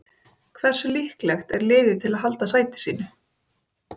Hversu líklegt er liðið til að halda sæti sínu?